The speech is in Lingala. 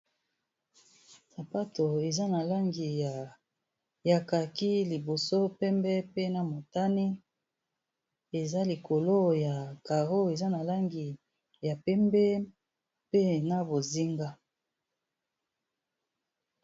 Sapato eza na langi ya kaki liboso, pembe, pe na motani, eza likolo ya caro eza na langi ya pembe pe na bozinga.